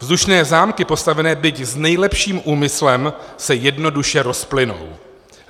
Vzdušné zámky postavené byť s nejlepším úmyslem se jednoduše rozplynou.